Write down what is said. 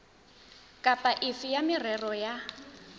kapa efe ya merero ya